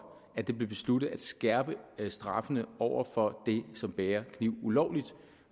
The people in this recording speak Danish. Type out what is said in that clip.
at det blev besluttet at skærpe straffene over for dem som bærer kniv ulovligt